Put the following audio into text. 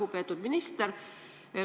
Lugupeetud minister!